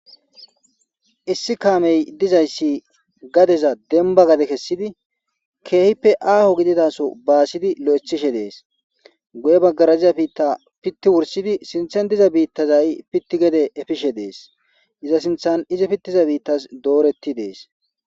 issi kaamey dizayssi gadeza denba gade kessidi keehippe aaho gididaso baasidi lo7ethishe dees guye baggaraziza biitta pitti wursidi sinthen diza biittazay pitti gede efishe dees iza sinthan izi pittiza biittas dooretti dees